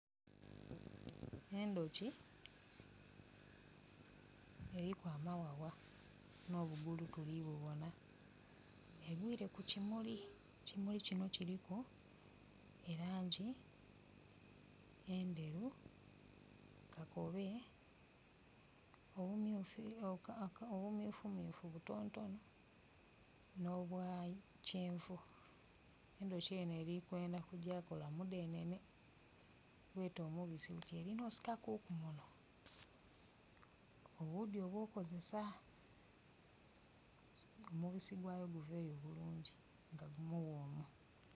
Endhoki eriku amaghagha no bugulu tuli bubona egwire ku kimuli, ekimuli kino kiliku elangi endheru, kakobe obumyufumyufu butontono no bwa kyenvu. Endhoki eno erikwendha kugya kola mudhenene gwete omubisi nga erina okusika kuku muno obudhi obw'okukozesa omubisi gwayo guveyo bulungi nga mughomu.